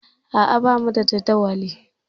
A'a, bamu da jadawali.